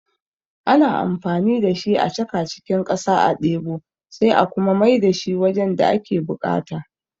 Ana amfani da shi a chaka cikin ƙasa a ɗebo sai a kuma mai da shi wajen da ake buƙata